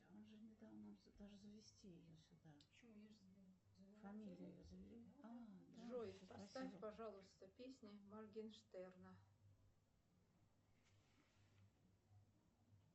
джой поставь пожалуйста песни моргенштерна